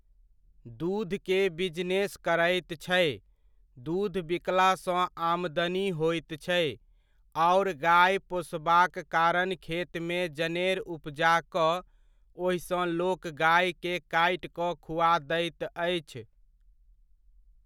दूधके बिजनेस करैत छै, दूध बिकलासँ आमदनी होइत छै, आओर गाय पोसबाक कारण खेतमे जनेर उपजा कऽ ओहिसँ लोक गाएके काटि कऽ खुआ दैत अछि।